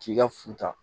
K'i ka futa